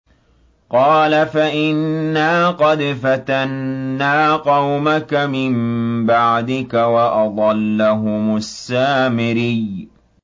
قَالَ فَإِنَّا قَدْ فَتَنَّا قَوْمَكَ مِن بَعْدِكَ وَأَضَلَّهُمُ السَّامِرِيُّ